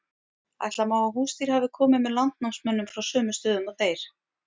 ætla má að húsdýr hafi komið með landnámsmönnum frá sömu stöðum og þeir